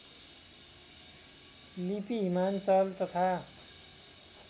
लिपि हिमाञ्चल तथा